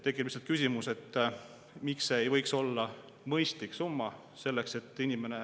Tekib lihtsalt küsimus, et miks see ei võiks olla mõistlik summa.